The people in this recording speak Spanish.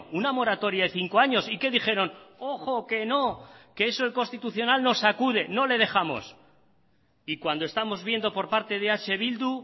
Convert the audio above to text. una moratoria de cinco años y qué dijeron ojo que no que eso el constitucional nos sacude no le dejamos y cuando estamos viendo por parte de eh bildu